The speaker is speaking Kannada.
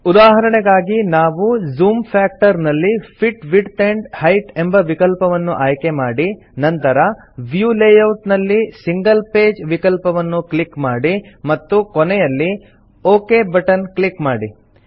ಉದಾಹರಣೆಗಾಗಿ ನಾವು ಜೂಮ್ ಫ್ಯಾಕ್ಟರ್ ನಲ್ಲಿ ಫಿಟ್ ವಿಡ್ತ್ ಆಂಡ್ ಹೈಟ್ ಎಂಬ ವಿಕಲ್ಪವನ್ನು ಆಯ್ಕೆಮಾಡಿ ನಂತರ ವ್ಯೂ ಲೇಯೌಟ್ ನಲ್ಲಿ ಸಿಂಗಲ್ ಪೇಜ್ ವಿಕಲ್ಪವನ್ನು ಕ್ಲಿಕ್ ಮಾಡಿ ಮತ್ತು ಕೊನೆಯಲ್ಲಿ ಒಕ್ ಬಟನ್ ಕ್ಲಿಕ್ ಮಾಡಿ